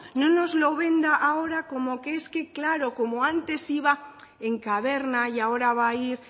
no nos lo venda ahora como es que claro como antes iba en caverna y ahora va a ir